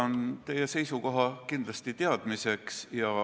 Võtan teie seisukoha kindlasti teadmiseks.